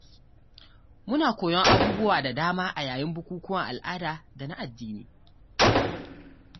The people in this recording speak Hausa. Muna koyon abubuwa da dama a yayin bukukuwan al'ada da na addini.